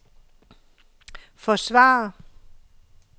forsvarer